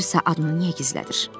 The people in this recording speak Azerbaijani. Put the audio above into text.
Gəlirsə adını niyə gizlədir?